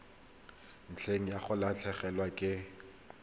ntle ga go latlhegelwa ke